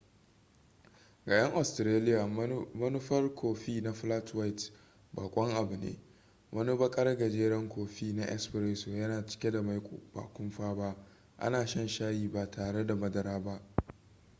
ga 'yan australiya manufar kofi na 'flat white' bakon abu ne. wani bakar gajeren kofi na 'espresso' yana cike da maiko ba kumfa ba ana shan shayi ba tare da madara ba